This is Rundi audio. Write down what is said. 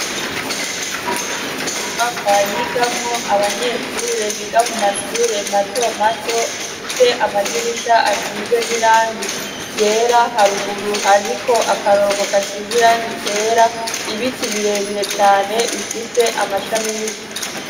Inyubakwa yigamwo abanyeshure biga mu mashure mato mato, ifise amadirisha asize n'irangi ryera, haruguru hariko akarongo gasize irangi ryera, ibiti birebire cane bifise amashami yu..